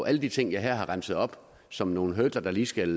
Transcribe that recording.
alle de ting jeg her har remset op som nogle hurdler der lige skal